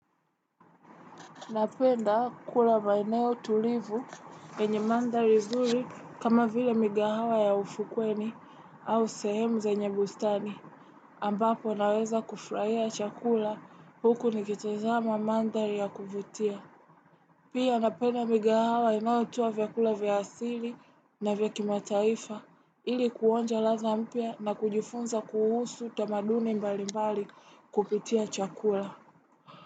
Napenda kula maeneo tulivu yenye mandhari zuri kama vile migahawa ya ufukweni au sehemu zenye bustani ambapo naweza kufraia chakula huku nikitazama mandhari ya kuvutia. Pia napenda migahawa inayotoa vyakula vya asili na vyakimataifa ili kuonja ladha mpya na kujifunza kuhusu tamaduni mbali mbali kupitia chakula.